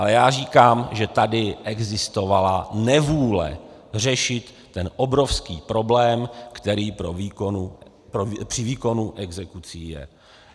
Ale já říkám, že tady existovala nevůle řešit ten obrovský problém, který při výkonu exekucí je.